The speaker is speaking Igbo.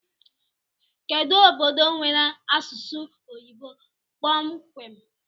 Kedu obodo nwee asụsụ oyibo kpọmkwem?